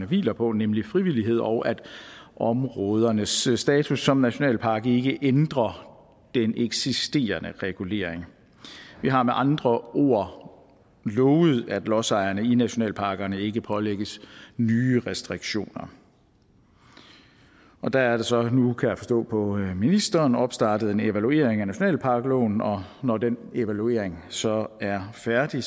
hviler på nemlig frivillighed og at områdernes status som nationalpark ikke ændrer den eksisterende regulering vi har med andre ord lovet at lodsejerne i nationalparkerne ikke pålægges nye restriktioner der er der så nu kan jeg forstå på ministeren opstartet en evaluering af nationalparkloven og når den evaluering så er færdig